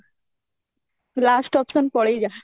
last option ପଳେଇଯା